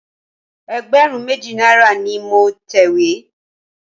Ẹgbẹ̀rún méjì náírà ni mo tẹ̀wé.